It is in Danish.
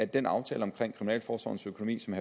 den aftale omkring kriminalforsorgens økonomi som